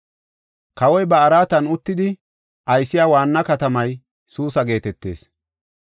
Kawoy ba araatan uttidi aysiya waanna katamay Suusa geetetees.